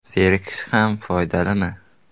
Zerikish ham foydalimi?.